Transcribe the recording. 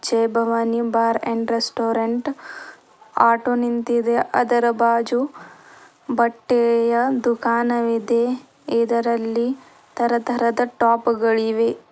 Jai Bhavani bar and restaurant auto ನಿಂತಿದೆ ಅದರ ಬಾಜು ಬಟ್ಟೆಯ ದುಕಾನವಿದೆ ಇದರಲ್ಲಿ ತರ ತರದ ಟಾಪ್ ಗಳಿವೆ.